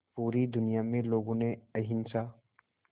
पूरी दुनिया में लोगों ने अहिंसा